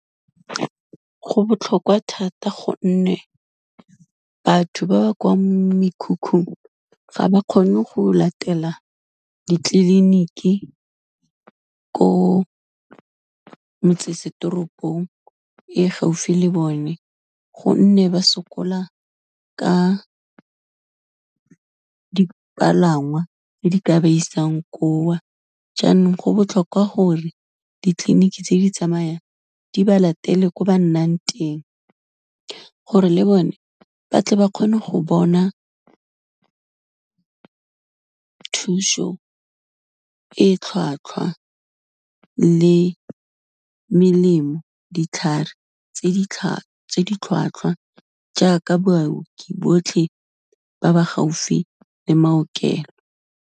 Go botlhokwa thata gonne batho ba ba kwa mekhukhung, ga ba kgone go latela ditleliniki ko metsesetoropong e gaufi le bone, gonne ba sokola ka dipalangwa tse di ka ba isang ko, jaanong go botlhokwa gore ditleliniki tse di tsamayang di ba latele ko ba nnang teng, gore le bone ba tle ba kgone go bona thuso e tlhwatlhwa le melemo, ditlhare tse di tlhwatlhwa jaaka baoki botlhe ba ba gaufi le maokelo.